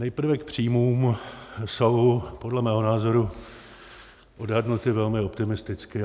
Nejprve k příjmům - jsou podle mého názoru odhadnuty velmi optimisticky.